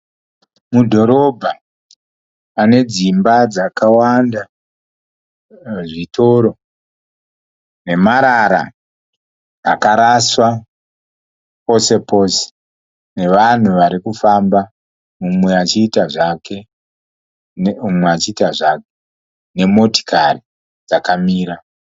Mudhorobha, pane dzimba dzakawanda. Zvitoro, nemarara akaraswa posepose. Nevanhu varikufamba mumwe achiita zvake, mumwe achiita zvake. Nemotikari dzakamira.